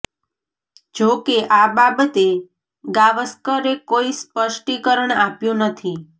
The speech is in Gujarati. જો કે આ બાબતે ગાવસ્કરે કોઇ સ્પષ્ટીકરણ આપ્યું નથી